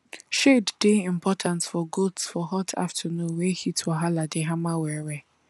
shade dey important for goats for hot afternoon wey heat wahala dey hammer well well